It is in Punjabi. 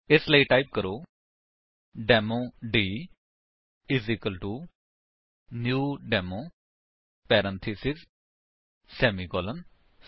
ਇਸਲਈ ਟਾਈਪ ਕਰੋ demo d new demo parenthesis semicolon